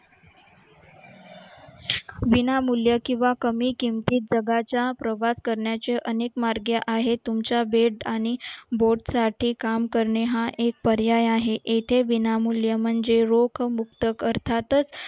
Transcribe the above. बिना मूल्य किंवा कमी किमतीत जगाच्या प्रभात करण्याचे अनेक मार्ग आहेत तुमच्या बेट आणि boat साठी काम करणे हा एक पर्याय आहे येथे बिनामूल्य म्हणजे रोख मुक्त करतातच